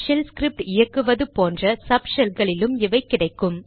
shell script இயக்குவது போன்ற சப் ஷெல்களிலும் இவை கிடைக்கும்